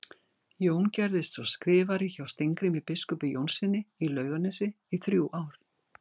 Jón gerðist svo skrifari hjá Steingrími biskupi Jónssyni í Laugarnesi í þrjú ár.